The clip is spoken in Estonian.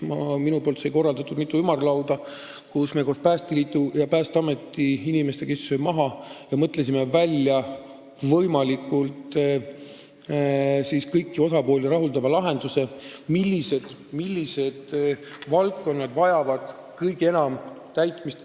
Ma korraldasin mitu ümarlauda: istusime koos Päästeliidu ja Päästeameti inimestega maha ja mõtlesime välja kõiki osapooli võimalikult rahuldava lahenduse, millised valdkonnad vajavad kõige enam raha.